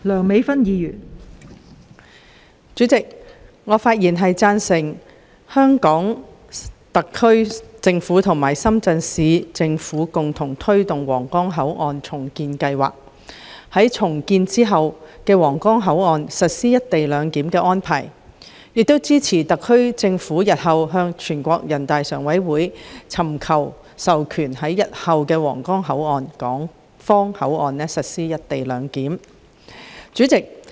代理主席，我發言贊成香港特區政府和深圳市人民政府共同推動皇崗口岸重建計劃，並在重建後的皇崗口岸實施"一地兩檢"安排，亦支持特區政府日後尋求全國人民代表大會常務委員會的授權，在日後的皇崗口岸港方口岸區實施"一地兩檢"。